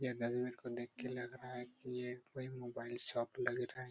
यह को देख के लग रहा है की ये कोई मोबाइल शॉप लग रहा है।